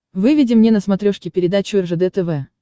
выведи мне на смотрешке передачу ржд тв